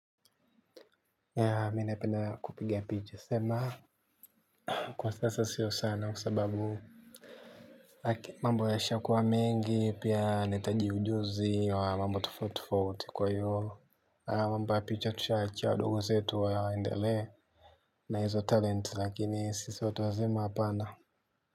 Mimi napenda kupiga picha sema kwa sasa sio sana kwa sababu, mambo yameshakuwa mengi. Pia nahitaji ujuzi wa mambo tofauti tofauti. Kwa hiyo, mambo ya picha tushawaachia wadogo zetu waendelee. Nahizo talent lakini sisi watu wazima hapana.